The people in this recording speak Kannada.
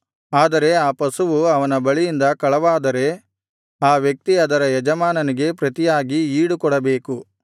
ಆದರೆ ಆ ಪಶುವು ಅವನ ಬಳಿಯಿಂದ ಕಳವಾದರೆ ಆ ವ್ಯಕ್ತಿ ಅದರ ಯಜಮಾನನಿಗೆ ಪ್ರತಿಯಾಗಿ ಈಡುಕೊಡಬೇಕು